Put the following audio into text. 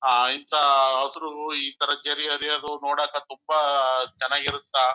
ಆ ಆ ಇಂತ ಹಸರು ಇತರ ಜರಿ ಹರಿಯೋದು ನೋಡಾಕ ತುಂಬಾ ಚನ್ನಗಿರುತ್ತ.